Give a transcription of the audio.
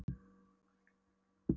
Hann ók hægt því hann naut ferðarinnar.